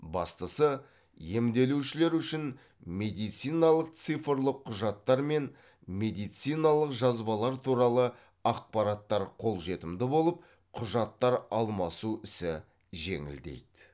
бастысы емделушілер үшін медициналық цифрлық құжаттар мен медициналық жазбалар туралы ақпараттар қолжетімді болып құжаттар алмасу ісі жеңілдейді